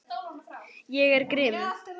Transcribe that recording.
Ég er grimm.